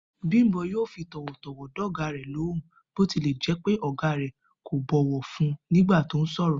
Bímpé yóò fi tò̩wò̩tò̩wò̩ dò̩gá rè̩ lóhùn bó tilè̩ jé̩ pé ò̩gá rè̩ kò bọ̀wò̩ fún un nígbà tó sò̩rò̩